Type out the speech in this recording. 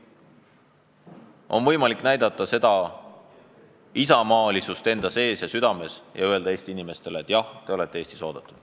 On võimalik näidata isamaalisust oma erakonnas ja südames ning öelda Eesti inimestele, et jah, te olete Eestis oodatud.